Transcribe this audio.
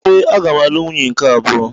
Ee, aga m alụ nwunye nke abụọ.